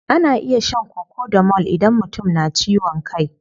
Ana iya shan cocodamol idan mutum na ciwon kai.